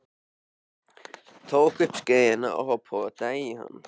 Tók upp skeiðina og potaði í hann.